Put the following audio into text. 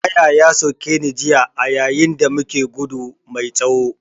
Ƙaya ya soke ni jiya a yayin da muke gudu mai tsawo